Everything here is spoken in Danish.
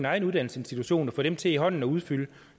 egen uddannelsesinstitution for at få dem til i hånden at udfylde